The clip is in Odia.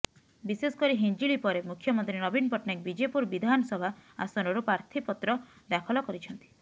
ବିଶେଷ କରି ହିଞ୍ଜିଳି ପରେ ମୁଖ୍ୟମନ୍ତ୍ରୀ ନବୀନ ପଟ୍ଟନାୟକ ବିଜେପୁର ବିଧାନସଭା ଆସନରୁ ପ୍ରାର୍ଥିପତ୍ର ଦାଖଲ କରିଛନ୍ତି